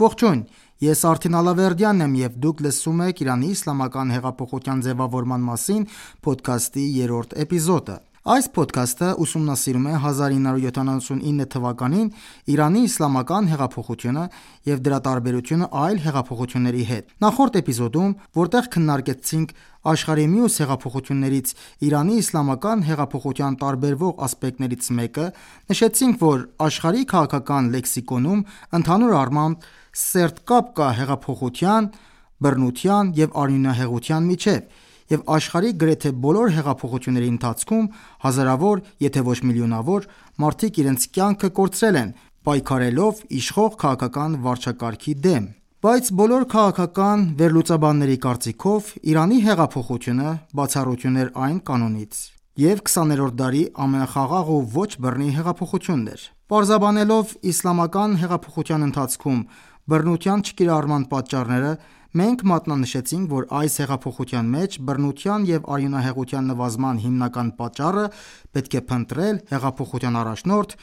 Ողջույն։ Ես Արթին Ալավերդյանն եմ և դուք լսում եք «Իրանի իսլամական հեղափոխության ձևավորման մասին» փոդքասթի երրորդ էպիզոդը։ Այս փոդքասթը ուսումնասիրում է 1979 թվականին Իրանի իսլամական հեղափոխությունը և դրա տարբերությունը այլ հեղափոխությունների հետ։ Նախորդ էպիզոդում, որտեղ քննարկեցինք աշխարհի մյուս հեղափոխություններից Իրանի իսլամական հեղափոխության տարբերվող ասպեկտներից մեկը, նշեցինք, որ աշխարհի քաղաքական լեքսիկոնում ընդհանուր առմամբ սերտ կապ կա հեղափոխության, բռնության և արյունահեղության միջև, և աշխարհի գրեթե բոլոր հեղափոխությունների ընթացքում հազարավոր, եթե ոչ միլիոնավոր, մարդիկ իրենց կյանքը կորցրել են՝ պայքարելով Իշխող քաղաքական վարչակարգի դեմ, բայց բոլոր քաղաքական վերլուծաբանների կարծիքով, Իրանի հեղափոխությունը բացառություն էր այս կանոնից և 20-րդ դարի ամենախաղաղ ու ոչ բռնի հեղափոխությունն էր։ Պարզաբանելով իսլամական հեղափոխության ընթացքում բռնության չկիրառման պատճառները, մենք մատնանշեցինք, որ այս հեղափոխության մեջ բռնության և արյունահեղության նվազման հիմնական պատճառը պետք է փնտրել Հեղափոխության առաջնորդ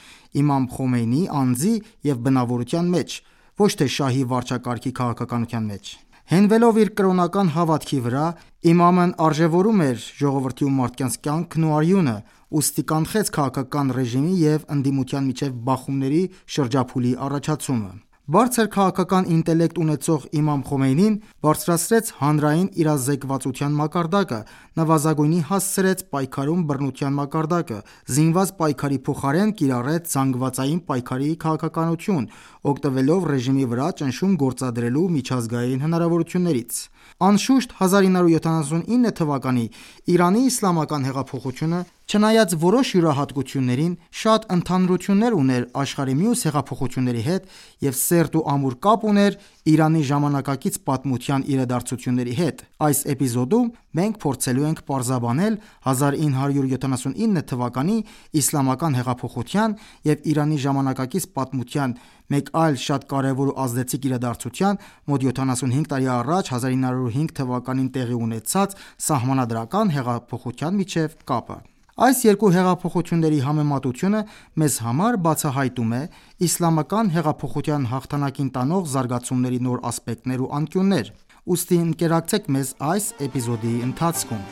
Իմամ Խոմեյնիի անձի և բնավորության մեջ, ոչ թե՚ շահի վարչակարգի քաղաքականության մեջ։ Հենվելով իր կրոնական հավատքի վրա, Իմամն արժեւորում էր ժողովրդի ու մարդկանց կյանքն ու արյունը, ուստի կանխեց քաղաքական ռեժիմի և ընդդիմության միջև բռնությունների շրջափուլի առաջացումը։ Բարձր քաղաքական ինտելեկտ ունեցող Իմամ Խոմեյնին բարձրացրեց հանրային իրազեկվածության մակարդակը, նվազագույնի հասցրեց պայքարում բռնության մակարդակը, զինված պայքարի փոխարեն կիրառեց զանգվածային պայքարի քաղաքականություն՝ օգտվելով ռեժիմի վրա ճնշում գործադրելու միջազգային հնարավորություններից։ Անշուշտ, 1979-ի Իրանի իսլամական հեղափոխությունը, չնայած որոշ յուրահատկություններին, շատ ընդհանրություններ ուներ աշխարհի մյուս հեղափոխությունների հետ և սերտ ու ամուր կապ ուներ Իրանի ժամանակակից պատմության իրադարձությունների հետ։ Այս Էպիզոդում մենք փորձելու ենք պարզաբանել 1979 թվականի Իսլամական հեղափոխության և Իրանի ժամանակակից պատմության մեկ այլ շատ կարևոր ու ազդեցիկ իրադարձության՝ մոտ 75 տարի առաջ՝ 1905 թվականին տեղի ունեցած Սահմանադրական հեղափոխության միջև կապը։ Այս երկու հեղափոխությունների համեմատությունը մեզ համար բացահայտում է Իսլամական հեղափոխության հաղթանակին տանող զարգացումների նոր ասպեկտներ ու անկյուններ։ Ուստի, ընկերակցեք մեզ այս էպիզոդի ընթացքում: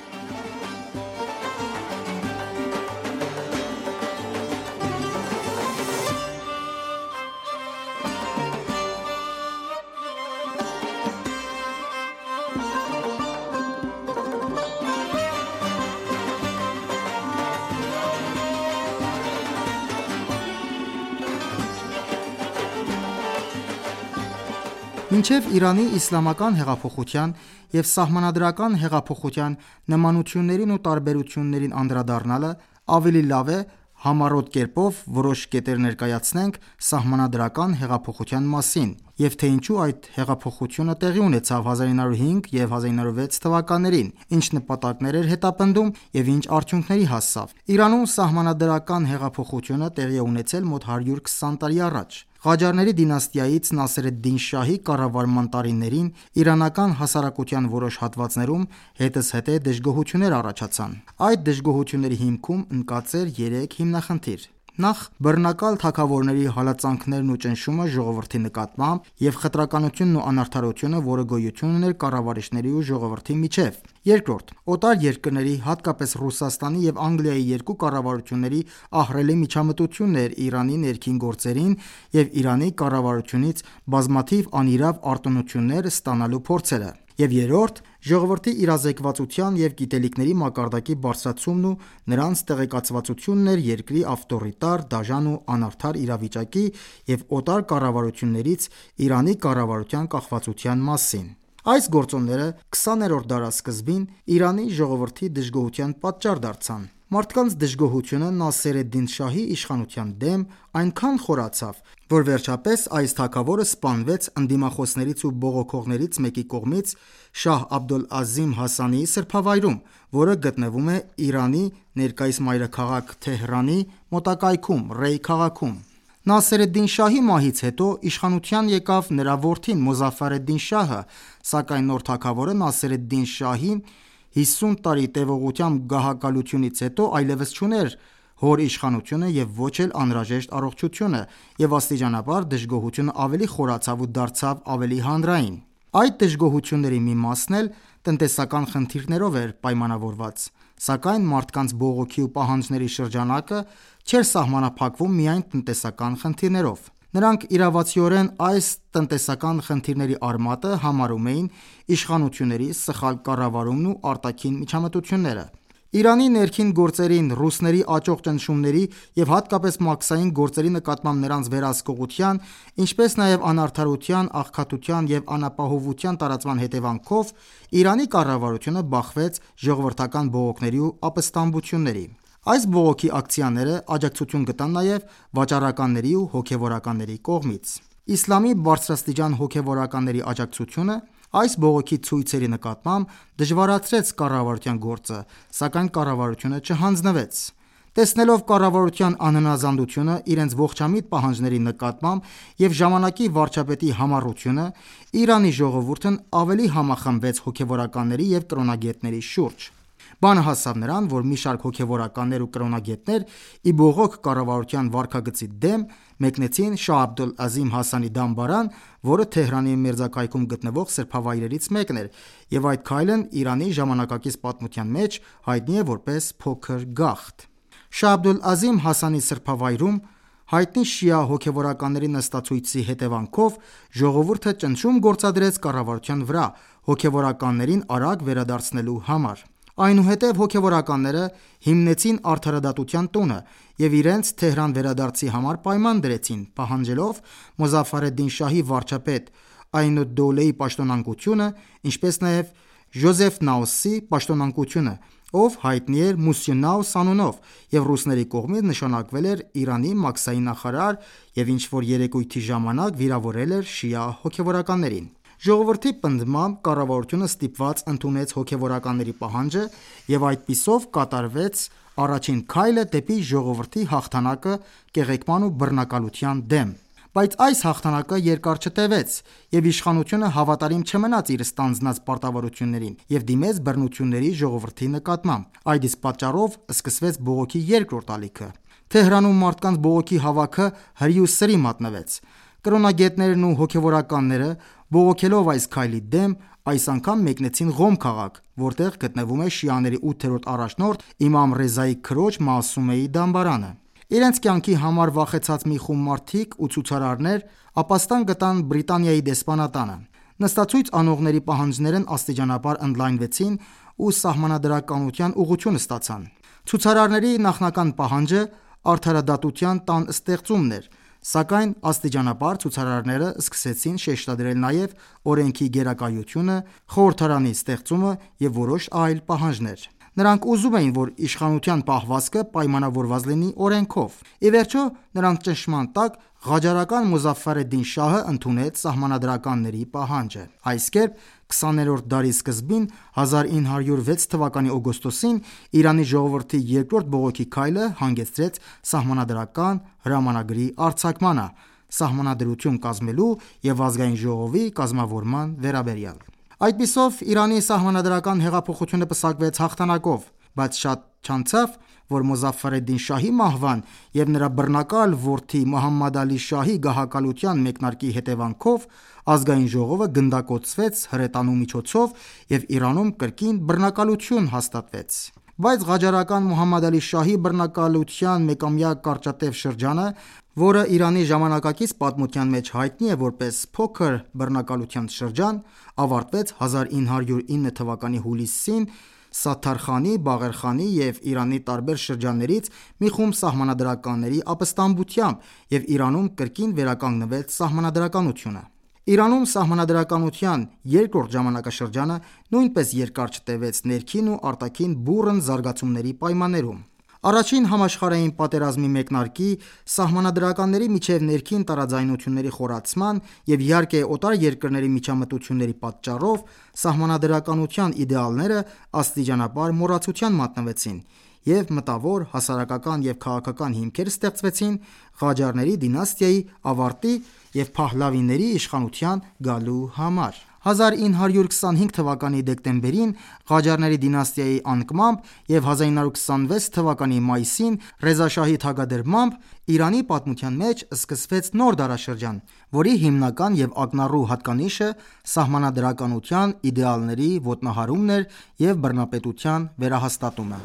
Մինչև Իրանի Իսլամական հեղափոխության և Սահմանադրական հեղափոխության նմանություններին ու տարբերություններին անդրադառնալը, ավելի լավ է համառոտ կերպով որոշ կետեր ներկայացնենք Սահմանադրական հեղափոխության մասին, և թե ինչու այդ հեղափոխությունը տեղի ունեցավ 1905 և 1906 թվականներին, ինչ նպատակներ էր հետապնդում և ինչ արդյունքների հասավ: Իրանում Սահմանադրական հեղափոխությունը տեղի է ունեցել մոտ 120 տարի առաջ։ Ղաջարների դինաստիայից Նասեր էդ-Դին շահի կառավարման տարիներին իրանական հասարակության որոշ հատվածներում հետզհետե դժգոհություններ առաջացան։ Այս դժգոհությունների հիմքում ընկած էր երեք հիմնախնդիր․ նախ՝ բռնակալ թագավորների հալածանքներն ու ճնշումը ժողովրդի նկատմամբ, և խտրականությունն ու անարդարությունը, որ գոյություն ուներ կառավարիչների ու ժողովրդի միջև, երկրորդ՝ օտար երկրների, հատկապես Ռուսաստանի և Անգլիայի երկու կառավարությունների ահռելի միջամտությունն էր Իրանի ներքին գործերին և Իրանի կառավարությունից բազմաթիվ անիրավ արտոնություններ ստանալու փորձերը, և երրորդ՝ ժողովրդի իրազեկվածության և գիտելիքների մակարդակի բարձրացումն ու նրանց տեղեկացվածությունն էր երկրի ավտորիտար, դաժան ու անարդար իրավիճակի և օտար կառավարություններից Իրանի կառավարության կախվածության մասին: Այս գործոնները 20-րդ դարասկզբին Իրանի ժողովրդի դժգոհության պատճառ դարձան։ Մարդկանց դժգոհությունը Նասեր էդ-Դին շահի իշխանության դեմ այնքան խորացավ, որ վերջապես այս թագավորը սպանվեց ընդդիմախոսներից ու բողոքողներից մեկի կողմից Շահ Աբդոլ-Ազիմ Հասանիի սրբավայրում, որը գտնվում է Իրանի ներկայիս մայրաքաղաք Թեհրանի մոտակայքում Ռեյ քաղաքում։ Նասեր էդ-Դին շահի մահից հետո իշխանության եկավ նրա որդին՝ Մոզաֆար էդ-Դին Շահը, սակայն նոր թագավորը Նասեր էդ-Դին շահի 50 տարի տևողությամբ գահակալությունից հետո այլեւս չուներ հոր իշխանությունը և ոչ էլ անհրաժեշտ առողջությունը, և աստիճանաբար դժգոհությունը ավելի խորացավ ու դարձավ ավելի հանրային։ Այդ դժգոհությունների մի մասն էլ տնտեսական խնդիրներով էր պայմանավորված, սակայն մարդկանց բողոքի ու պահանջների շրջանակը չէր սահմանափակվում միայն տնտեսական խնդիրներով։ Նրանք իրավացիորեն այս տնտեսական խնդիրների արմատը համարում էին իշխանությունների սխալ կառավարումն ու արտաքին միջամտությունները։ Իրանի ներքին գործերին ռուսների աճող ճնշումների և հատկապես մաքսային գործերի նկատմամբ նրանց վերահսկողության, ինչպես նաև անարդարության, աղքատության և անապահովության տարածման հետևանքով, Իրանի կառավարությունը բախվեց ժողովրդական բողոքների ու ապստամբությունների: Այս բողոքի ակցիաները աջակցություն գտան նաև վաճառականների ու հոգևորականների կողմից։ Իսլամի բարձրաստիճան հոգևորականների աջակցությունը այս բողոքի ցույցերի նկատմամբ դժվարացրեց կառավարության գործը, սակայն կառավարությունը չհանձնվեց։ Տեսնելով կառավարության անհնազանդությունը իրենց ողջամիտ պահանջների նկատմամբ և ժամանակի վարչապետի համառությունը, Իրանի ժողովուրդն ավելի համախմբվեց հոգևորականների և կրոնագետների շուրջ։ Բանը հասավ նրան, որ մի շարք հոգևորականներ ու կրոնագետներ, ի բողոք կառավարության վարքագծի դեմ, մեկնեցին Շահ Աբդուլ-Ազիմ Հասանիի դամբարան, որը Թեհրանի մերձակայքում գտնվող սրբավայրերից մեկն էր, և այդ քայլն Իրանի ժամանակակից պատմության մեջ հայտնի է որպես «փոքր գաղթ»: Շահ Աբդուլ-Ազիմ Հասանիի սրբավայրում հայտնի շիա հոգեւորականների նստացույցի հետևանքով ժողովուրդը ճնշում գործադրեց կառավարության վրա՝ հոգևորականներին արագ վերադարձնելու համար: Այնուհետև, հոգևորականները հիմնեցին Արդարադատության տունը և իրենց Թեհրան վերադարձի համար պայման դրեցին՝ պահանջելով Մոզաֆար էդ-Դին շահի վարչապետ Այն ալ-Դոլեհի պաշտոնանկությունը, ինչպես նաև Ժոզեֆ Նաուսի (ֆրանս. Josephus Naus), պաշտոնանկությունը, ով հայտնի էր «Մուսյո Նաուս» անունով և ռուսների կողմից նշանակվել էր Իրանի մաքսային նախարար և ինչ-որ երեկույթի ժամանակ վիրավորել էր շիա հոգևորականներին։ Ժողովրդի պնդմամբ կառավարությունը ստիպված ընդունեց հոգևորականների պահանջը և այդպիսով կատարվեց առաջին քայլը դեպի ժողովրդի հաղթանակը կեղեքման ու բռնակալության դեմ։ Բայց այս հաղթանակը երկար չտեւեց, և իշխանությունը հավատարիմ չմնաց իր ստանձնած պարտավորություններին և դիմեց բռնությունների ժողովրդի նկատմամբ։ Այդ իսկ պատճառով սկսվեց բողոքի երկրորդ ալիքը։ Թեհրանում մարդկանց բողոքի հավաքը հրի ու սրի մատնվեց։ Կրոնագետներն ու հոգեւորականները, բողոքելով այս քայլի դեմ, այս անգամ մեկնեցին Ղոմ քաղաք, որտեղ գտնվում է շիաների ութերորդ առաջնորդ Իմամ Ռեզայի քրոջ՝ Մասումեի դամբարանը։ Իրենց կյանքի համար վախեցած մի խումբ մարդիկ ու ցուցարարներ էլ ապաստան գտան Բրիտանիայի դեսպանատանը։ Նստացույց անողների պահանջներն աստիճանաբար ընդլայնվեցին ու սահմանադրականության ուղղություն ստացան։ Ցուցարարների նախնական պահանջը ադարադատության տան ստեղծումն էր, սակայն աստիճանաբար ցուցարարները սկսեցին շեշտադրել նաև օրենքի գերակայությունը, խորհրդարանի ստեղծումը և որոշ այլ պահանջներ։ Նրանք ուզում էին, որ իշխանության պահվածքը պայմանավորված լինի օրենքով։ Ի վերջո, նրանց ճնշման տակ Ղաջարական Մոզաֆար Էդ֊Դին շահը ընդունեց սահմանադրականների պահանջը։ Այս կերպ, 20-րդ դարի սկզբին 1906 թվականի օգոստոսին Իրանի ժողովրդի երկրորդ բողոքի քայլը հանգեցրեց սահմանադրական հրամանագրի արձակմանը՝ սահմանադրություն կազմելու և Ազգային ժողովի կազմավորման վերաբերյալ: Այդպիսով Իրանի Սահմանադրական հեղափոխությունը պսակվեց հաղթանակով, բայց շատ չանցավ, որ Մոզաֆար էդ-Դին շահի մահվան և նրա բռնակալ որդի Մոհամմադ Ալի Շահի գահակալության մեկնարկի հետևանքով, Ազգային ժողովը գնդակոծվեց հրետանու միջոցով և Իրանում կրկին բռնակալություն հաստատվեց։ Բայց Ղաջարական Մոհամմադ Ալի Շահի բռնակալության մեկամյա կարճատև շրջանը, որը Իրանի ժամանակակից պատմության մեջ հայտնի է որպես «Փոքր բռնակալության շրջան», ավարտվեց 1909թ. հուլիսին Սաթար Խանի, Բաղեր խանի և Իրանի տարբեր շրջաններից մի խումբ սահմանադրականների ապստամբությամբ և Իրանում կրկին վերականգնվեց սահմանադրականությունը։ Իրանում սահմանադրականության երկրորդ ժամանակաշրջանը նույնպես երկար չտեւեց ներքին ու արտաքին բուռն զարգացումների պայմաններում. Առաջին համաշխարհային պատերազմի մեկնարկի, սահմանադրականների միջև ներքին տարաձայնությունների խորացման և, իհարկե, օտար երկրների միջամտությունների պատճառով, Սահմանադրականության իդեալները աստիճանաբար մոռացության մատնվեցին, և մտավոր, հասարակական և քաղաքական հիմքեր ստեղծվեցին Ղաջարների դինաստիայի ավարտի և Փահլավիների իշխանության գալու համար։ 1925թ. դեկտեմբերին Ղաջարների դինաստիայի անկմամբ և 1926թ. մայիսին Ռեզա շահի թագադրմամբ, Իրանի պատմության մեջ սկսվեց նոր դարաշրջան, որի հիմնական և ակնառու հատկանիշը սահմանադրականության իդեալների ոտնահարումն էր և բռնապետության վերահաստատումը։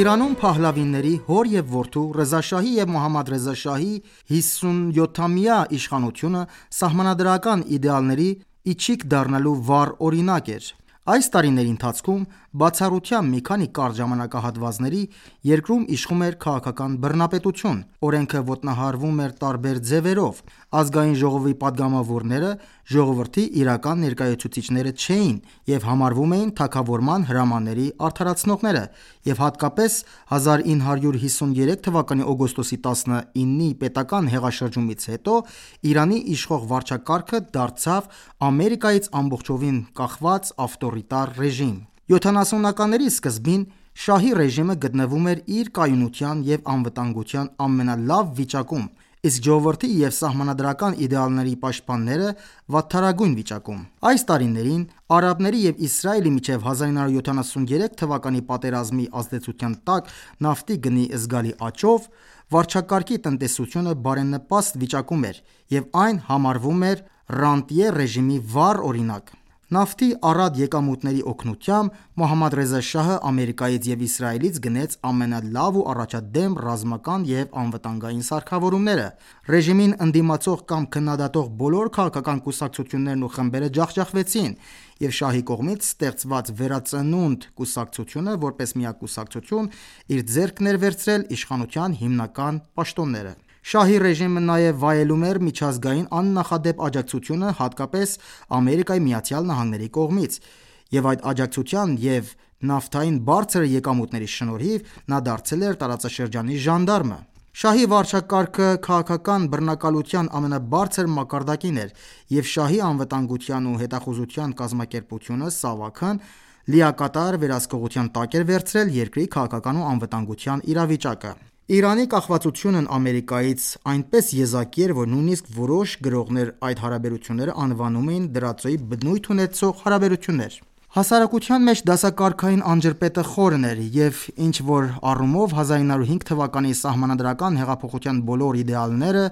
Իրանում Փահլավիների՝ հոր և որդու՝ Ռեզա շահի և Մոհամմադ Ռեզա շահի հիսունյոթամյա իշխանությունը սահմանադրական իդեալների ի չիք դառնալու վառ օրինակ էր։ Այս տարիների ընթացքում, բացառությամբ մի քանի կարճ ժամանակահատվածների, երկրում իշխում էր քաղաքական բռնապետություն, օրենքը ոտնահարվում էր տարբեր ձևերով, Ազգային ժողովի պատգամավորները ժողովրդի իրական ներկայացուցիչները չէին, և համարվում էին թագավորական հրամանների արդարացնողները, և հատկապես 1953թ. օգոստոսի 19-ի պետական հեղաշրջումից հետո Իրանի իշխող վարչակարգը դարձավ Ամերիկայից ամբողջովին կախված ավտորիտար ռեժիմ։ 1970-ականների սկզբին շահի ռեժիմը գտնվում էր իր կայունության և անվտանգության ամենալավ վիճակում, իսկ ժողովրդի և սահմանադրական իդեալների պաշտպանները՝ վատթարագույն վիճակում։ Այս տարիներին, արաբների և Իսրայելի միջև 1973-ի պատերազմի ազդեցության տակ նավթի գնի զգալի աճով, վարչակարգի տնտեսությունը բարենպաստ վիճակում էր և այն համարվում էր «Ռանտյե» ռեժիմի վառ օրինակ։ Նավթի առատ եկամուտների օգնությամբ Մոհամմադ Ռեզա Շահը Ամերիկայից և Իսրայելից գնեց ամենալավ ու առաջադեմ ռազմական և անվտանգային սարքավորումները, ռեժիմին ընդդիմացող կամ քննադատող բոլոր քաղաքական կուսակցություններն ու խմբերը ջախջախվեցին, և Շահի կողմից ստեղծված «Վերածնունդ» կուսակցությունը որպես միակ կուսակցություն, իր ձեռքն էր վերցրել իշխանության հիմնական պաշտոնները։ Շահի ռեժիմը նաև վայելում էր միջազգային աննախադեպ աջակցությունը հատկապես Ամերիկայի Միացյալ Նահանգների կողմից, և այդ աջակցության ու նավթային բարձր եկամուտների շնորհիվ նա դարձել էր տարածաշրջանի ժանդարմը։ Շահի վարչակարգը քաղաքական բռնակալության ամենաբարձր մակարդակին էր, և շահի անվտանգության ու հետախուզության կազմակերպությունը՝ ՍԱՎԱՔ-ն լիակատար վերահսկողության տակ էր վերցրել երկրի քաղաքական ու անվտանգության իրավիճակը: Իրանի կախվածությունն Ամերիկայից այնպես եզակի էր, որ նույնիսկ որոշ գրողներ այդ հարաբերությունները անվանում էին դրածոյի բնույթ ունեցող հարաբերություններ: Հասարակության մեջ դասակարգային անջրպետը խորն էր և, և ինչ-որ առումով 1905 թվականի Սահմանադրական հեղափոխության բոլոր իդեալները՝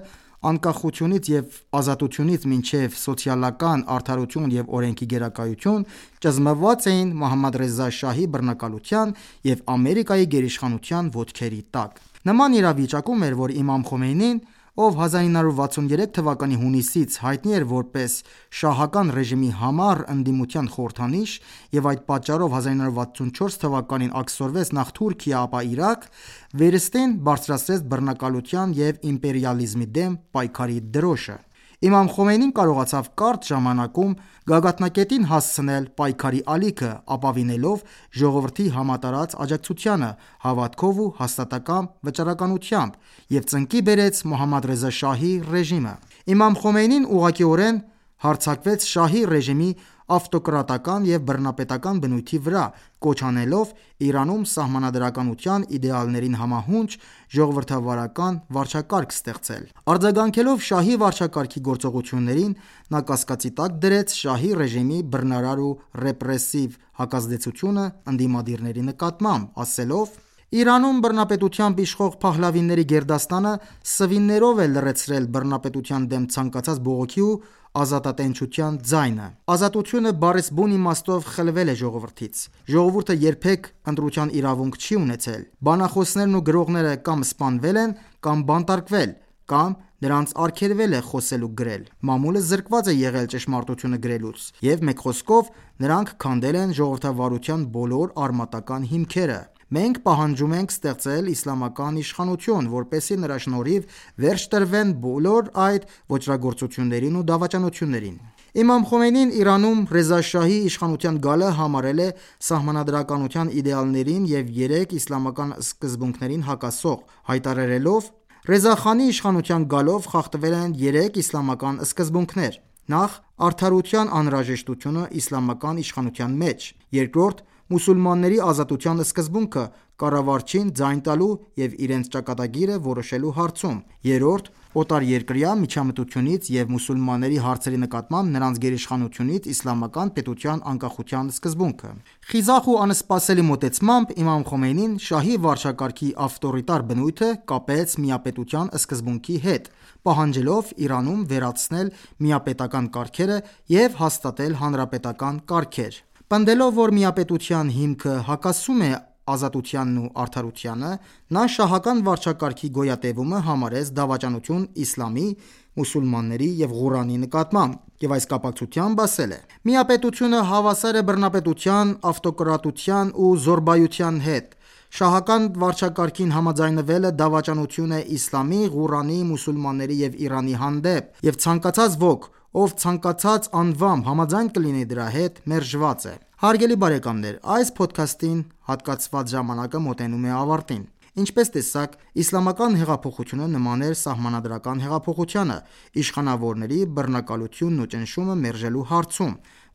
անկախությունից և ազատությունից մինչև սոցիալական արդարություն և օրենքի գերակայություն, ճզմված էին Մոհամմադ Ռեզա շահի բռնակալության և Ամերիկայի գերիշխանության ոտքերի տակ։ Նման իրավիճակում էր, որ Իմամ Խոմեյնին, ով 1963 թվականի հունիսից հայտնի էր որպես շահական ռեժիմի համառ ընդդիմության խորհրդանիշ և այդ պատճառով 1964 թվականին աքսորվեց նախ Թուրքիա, ապա՝ Իրաք, վերստին բարձրացրեց բռնակալության և իմպերիալիզմի դեմ պայքարի դրոշը։ Իմամ Խոմեյնին կարողացավ կարճ ժամանակում գագաթնակետին հասցնել պայքարի ալիքը՝ ապավինելով ժողովրդի համատարած աջակցությանը, հավատքով ու հաստատակամ վճռականությամբ, և ծնկի բերեց Մոհամմադ Ռեզա շահի ռեժիմը։ Իմամ Խոմեյնին ուղղակիորեն հարձակվեց շահի ռեժիմի ավտոկրատական և բռնապետական բնույթի վրա՝ կոչ անելով Իրանում Սահմանադրականության իդեալներին համահունչ ժողովրդավարական վարչակարգ ստեղծել: Արձագանքելով Շահի վարչակարգի գործողություններին, նա կասկածի տակ դրեց Շահի ռեժիմի բռնարար ու ռեպրեսիվ հակազդեցությունը ընդդիմադիրների նկատմամբ՝ ասելով. «Իրանում բռնապետությամբ իշխող Փահլավիների գերդաստանը սվիններով է լռեցրել բռնապետության դեմ ցանկացած բողոքի ու ազատատենչության ձայնը... Ազատությունը բառիս բուն իմաստով խլվել է ժողովրդից. ժողովուրդը երբեք ընտրության իրավունք չի ունեցել. Բանախոսներն ու գրողները կա՛մ սպանվել են, կա՛մ բանտարկվել, կա՛մ նրանց արգելվել է խոսել ու գրել: Մամուլը զրկված է եղել ճշմարտությունը գրելուց, և մեկ խոսքով՝ նրանք քանդել են ժողովրդավարության բոլոր արմատական հիմքերը։ Մենք պահանջում ենք ստեղծել իսլամական իշխանություն, որպեսզի նրա շնորհիվ վերջ տրվեն այս բոլոր ոճրագործություններին ու դավաճանություններին»։ Իմամ Խոմեյնին Իրանում Ռեզա շահի իշխանության գալը համարել է սահմանադրականության իդեալներին և երեք իսլամական սկզբունքներին հակասող՝ հայտարարելով. «Ռեզա Խանի իշխանության գալով խախտվել են երեք իսլամական սկզբունքներ. Նախ՝ արդարության անհրաժեշտությունը իսլամական իշխանության մեջ, երկրորդ՝ մուսուլմանների ազատության սկզբունքը կառավարչին ձայն տալու և իրենց ճակատագիրը որոշելու հարցում, երրորդ՝ օտարերկրյա միջամտությունից և մուսուլմանների հարցերի նկատմամբ նրանց գերիշխանությունից իսլամական պետության անկախության սկզբունքը»։ Խիզախ ու անսպասելի մոտեցմամբ Իմամ Խոմեյնին շահի վարչակարգի ավտորիտար բնույթը կապեց միապետության սկզբունքի հետ՝ պահանջելով Իրանում վերացնել միապետական կարգերը և հաստատել հանրապետական կարգեր։ Պնդելով, որ միապետության հիմքը հակասում է ազատությանն ու արդարությանը, նա շահական վարչակարգի գոյատևումը համարեց դավաճանություն իսլամի, մուսուլմանների և Ղուրանի նկատմամբ, և այս կապակցությամբ ասել է. «Միապետությունը հավասար է բռնապետության, ավտոկրատության ու զոռբայության հետ… Շահական վարչակարգին համաձայնվելը դավաճանություն է իսլամի, Ղուրանի, մուսուլմանների և Իրանի հանդեպ, և ցանկացած ոք, ով ցանկացած անվամբ համաձայն կլինի դրա հետ, մերժված է»: Հարգելի բարեկամներ, այս փոդքասթին հատկացված ժամանակը մոտենում է ավարտին։ Ինչպես տեսաք, Իսլամական հեղափոխությունը նման էր Սահմանադրական հեղափոխությանը՝ իշխանավորների բռնակալությունն ու ճնշումը մերժելու հարցում,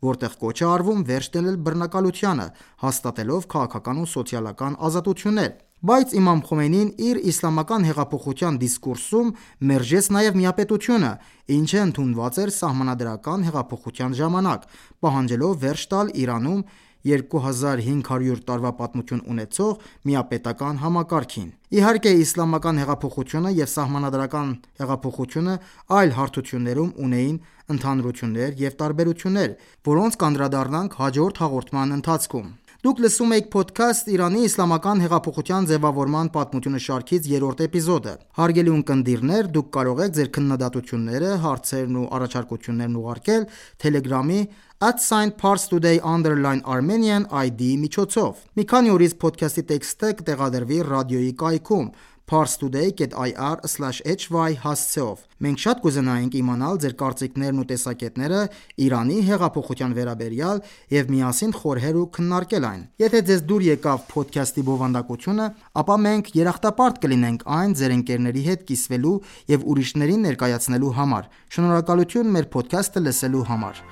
որտեղ կոչ է արվում վերջ դնել բռնակալությանը՝ հաստատելով քաղաքական ու սոցիալական ազատություններ, բայց Իմամ Խոմեյնին իր Իսլամական հեղափոխության դիսկուրսում մերժեց նաև միապետությունը, ինչը ընդունված էր Սահմանադրական հեղափոխության ժամանակ, պահանջելով վերջ տալ Իրանում 2500 տարվա պատմություն ունեցող միապետական համակարգին։ Իհարկե, Իսլամական հեղափոխությունը և Սահմանադրական հեղափոխությունը այլ հարթություններում ունեին ընդհանրություններ և տարբերություններ, որոնց կանդրադառնանք հաջորդ հաղորդման ընթացքում։ Դուք լսում էիք Փոդքասթ՝ «Իրանի իսլամական հեղափոխության ձևավորման պատմությունը» շարքից 3-րդ էպիզոդը։ Հարգելի ունկնդիրներ, դուք կարող եք Ձեր քննադատությունները, հարցերն ու առաջարկություններն ուղարկել Թելեգրամի @parstoday_Armenian ID-ի միջոցով: Մի քանի օրից փոդքասթի տեքստը կտեղադրվի ռադիոյի կայքում՝ parstoady.ir/hy հասցեով: Մենք շատ կուզենայինք իմանալ ձեր կարծիքներն ու տեսակետները Իրանի հեղափոխության վերաբերյալ և միասին խորհել ու քննարկել այն։ Եթե ձեզ դուր եկավ փոդքասթի բովանդակությունը, ապա մենք երախտապարտ կլինենք այն ձեր ընկերների հետ կիսվելու և ուրիշներին ներկայացնելու համար: Շնորհակալություն մեր փոդքաստը լսելու համար: